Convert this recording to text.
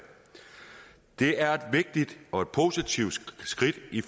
det er et vigtigt og positivt skridt i